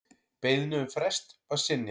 Beiðni um frest var synjað.